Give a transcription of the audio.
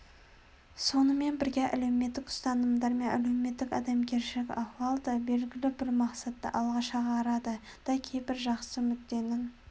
сонымен бірге мемлекеттік ұстанымдар мен әлеуметтік адамгершілік ахуал да белгілі бір мақсатты алға шығарады да кейбір жақсы мүдденің